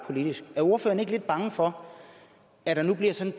politisk er ordføreren ikke lidt bange for at der nu bliver sådan